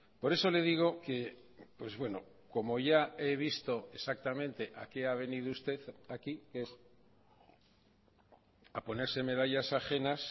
por eso le digo que pues bueno como ya he visto exactamente a qué ha venido usted aquí que es a ponerse medallas ajenas